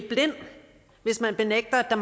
jeg